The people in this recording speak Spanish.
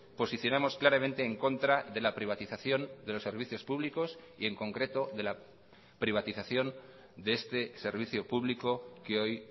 posicionamos claramente en contra de la privatización de los servicios públicos y en concreto de la privatización de este servicio público que hoy